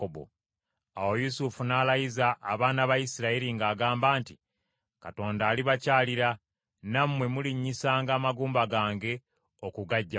Awo Yusufu n’alayiza abaana ba Isirayiri ng’agamba nti, “Katonda alibakyalira, nammwe mulinyisanga amagumba gange okugaggya wano.”